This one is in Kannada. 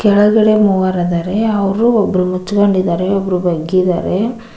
ಒಳಗಡೆ ಮೂವರದರೆ ಅವರು ಒಬ್ರು ಮುಚ್ಕೊಂಡಿದ್ದಾರೆ ಒಬ್ರು ಬಗ್ಗಿದಾರೆ.